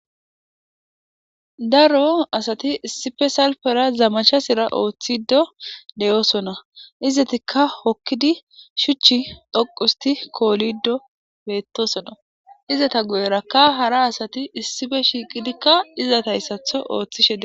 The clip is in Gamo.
Daro asati issife salfera zamacha sira ooththido deyosona izatikka hokkidi shuchi dhoqusti koolido beettosona izata guyerakka hara asati issife shiiqidikka izata hayssatho ooththishe de.